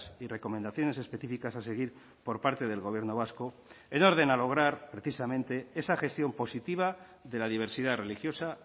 y recomendaciones específicas a seguir por parte del gobierno vasco en orden a lograr precisamente esa gestión positiva de la diversidad religiosa